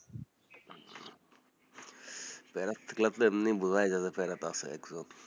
প্যারা থাকলে বোঝাই যাবে আপনি এমনি প্যারাত আছে একজন,